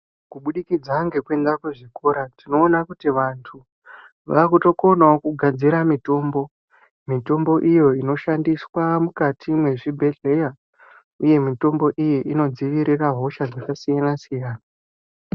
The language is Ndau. Kubudikidza ngekuenda kuzvikora, tinoona kuti vantu vakutokonawo kugadzira mitombo. Mitombo iyo inoshandiswa mukati mwezvibhehleya uye mitombo iyo inodzivirira hosha dzakasiyana-siyana